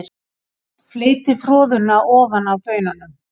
Fleytið froðuna ofan af baununum.